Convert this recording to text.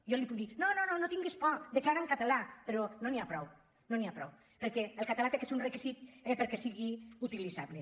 jo li puc dir no no no tinguis por declara en català però no n’hi ha prou no n’hi ha prou perquè el català ha de ser un requisit perquè sigui utilitzable